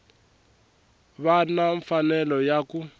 va na mfanelo ya ku